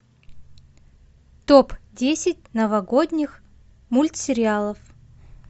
топ десять новогодних мультсериалов